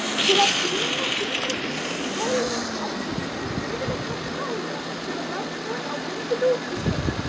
Til að knýja hringrás kæliefnisins er yfirleitt notuð dæla sem er rafknúin á venjulegum ísskápum.